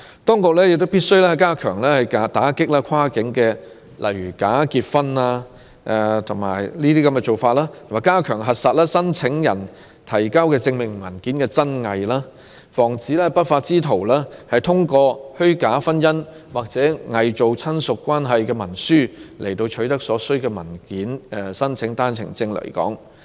當局必須加強打擊跨境假結婚的行為，以及加強核實申請人提交的證明文件的真偽，防止不法之徒通過虛假婚姻或偽造親屬關係的文書，取得所需文件申請單程證來港。